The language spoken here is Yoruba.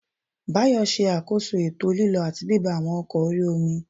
Báyọ̀ ṣe àkóso ètò lílọ àti bíbọ̀ àwọn ọkọ̀ orí-omi